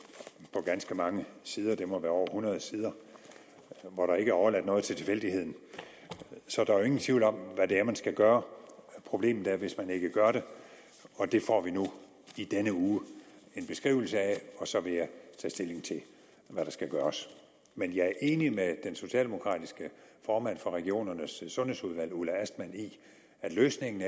på ganske mange sider det må være over hundrede sider hvor der ikke er overladt noget til tilfældighederne så der er jo ingen tvivl om hvad det er man skal gøre problemet er hvis man ikke gør det og det får vi nu i denne uge en beskrivelse af og så vil jeg tage stilling til hvad der skal gøres men jeg er enig med den socialdemokratiske formand for regionernes sundhedsudvalg ulla astman i at løsningen